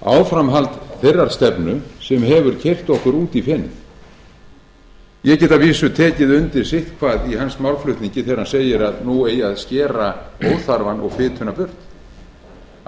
áframhald þeirrar stefnu sem hefur keyrt okkur út í fenið ég get að vísu tekið undir sitthvað í hans málflutningi þegar hann segir að nú eigi að skera óþarfann og fituna burt